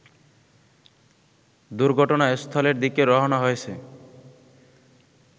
দুর্ঘটনাস্থলের দিকে রওনা হয়েছে